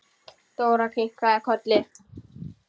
Dóra kinkaði kolli.